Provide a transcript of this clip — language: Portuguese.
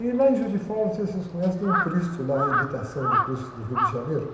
E lá em Juiz de Fora, não sei se vocês conhecem, tem um Cristo lá, a imitação do Cristo do Rio de Janeiro.